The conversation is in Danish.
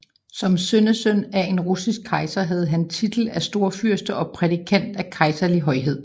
Som sønnesøn af en russisk kejser havde han titel af storfyrste og prædikat af kejserlig højhed